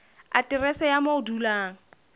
aterese ya moo o dulang